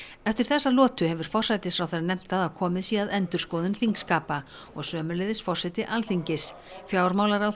eftir þessa lotu hefur forsætisráðherra nefnt það að komið sé að endurskoðun þingskapa og sömuleiðis forseti Alþingis fjármálaráðherra